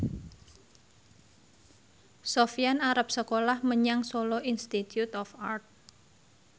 Sofyan arep sekolah menyang Solo Institute of Art